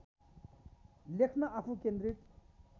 लेख्न आफू केन्द्रित